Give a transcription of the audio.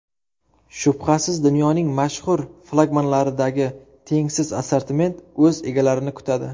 Shubhasiz dunyoning mashhur flagmanlaridagi tengsiz assortiment o‘z egalarini kutadi.